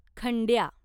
खंड्या